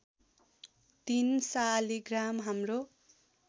३ शालिग्राम हाम्रो